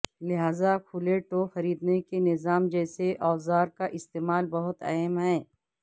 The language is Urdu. لہذا کھلے ٹو خریدنے کے نظام جیسے اوزار کا استعمال بہت اہم ہے